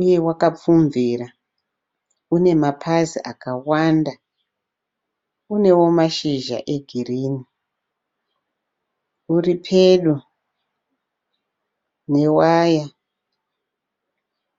uye wakapfumvira une mapazi akawanda. Unewo mashizha egirinhi uripedo newaya.